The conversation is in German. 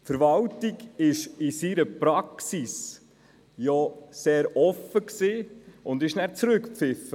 Die Verwaltung war in ihrer Praxis ja sehr offen und wurde zurückgepfiffen.